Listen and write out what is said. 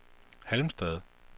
Halmstad